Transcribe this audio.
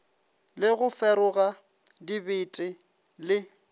le go feroga dibete le